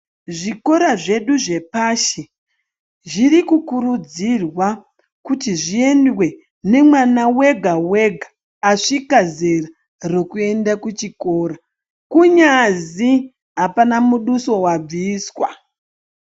Zvikora zvedu zvepashi, zviri kukurudzirwa kuti zviendwe nemwana wega-wega asvika zera rekuenda kuchikora, kunyazi apana muduso wabviswa.